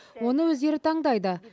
оны өздері таңдайды